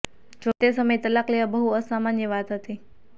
જો કે તે સમયે તલાક લેવા બહુ અસામાન્ય વાત હતી